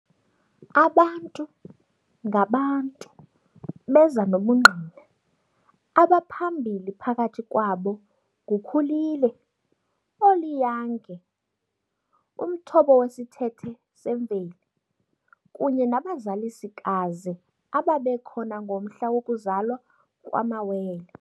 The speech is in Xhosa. Abantu-ngabantu beza nobungqina, abaphambili phakathi kwabo nguKhulile oliyange- umthobo wesithethe semveli, kunye nabazalisikazi ababekhona ngomhla wokuzalwa kwamawele.